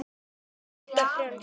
Alda frjáls.